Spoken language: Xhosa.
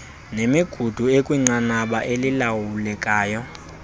nemigudu ikwinqanaba elilawulekayo